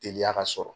Teliya ka sɔrɔ